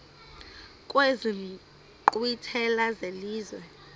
kwezi nkqwithela zelizwe